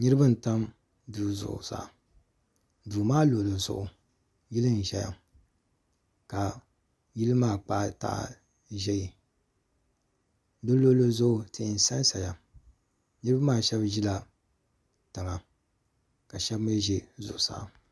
Niriba n tami duu zuɣu saa duu maa luɣuli zuɣu yili n zaya ka yilli maa kpahi tahi ʒɛɛ si luɣili zuɣu tihi n san saya niriba maa shɛba zila tiŋa ka ahɛba mi zɛ zuɣusaa.